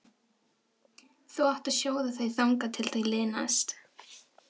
Þú átt að sjóða þau þangað til þau linast.